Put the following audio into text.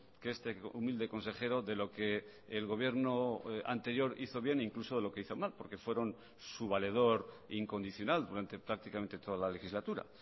que este humilde consejero de lo que el gobierno anterior hizo bien incluso de lo que hizo mal porque fueron su valedor incondicional durante prácticamente toda la legislatura